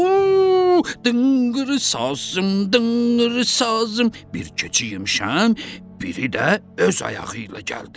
Dınqır sazım, dınqır sazım, bir keçi yemişəm, biri də öz ayağı ilə gəldi.